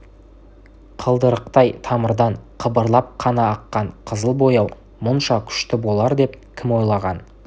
қылдырықтай тамырдан қыбырлап қана аққан қызыл бояу мұнша күшті болар деп кім ойлаған